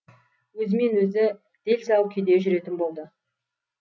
өзімен өзі дел сал күйде жүретін болды